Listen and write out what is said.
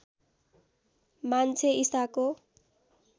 मान्छे ईसाको